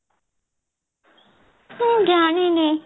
ମୁଁ ଜାଣିନି